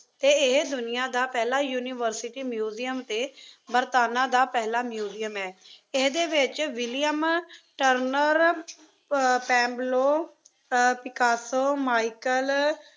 ਅਤੇ ਇਹ ਦੁਨੀਆ ਦਾ ਪਹਿਲਾ ਯੂਨੀਵਰਸਿਟੀ ਮਿਊਜ਼ੀਅਮ ਅਤੇ ਬਰਤਾਨਾ ਦਾ ਪਹਿਲਾ ਮਿਊਜ਼ੀਅਮ ਏ। ਇਹਦੇ ਵਿੱਚ ਵਿਲੀਅਮ ਟਰਨਰ, ਅਹ ਪੈਬਲੋ ਅਹ ਪਿਕਾਸੋ, ਮਾਈਕਲ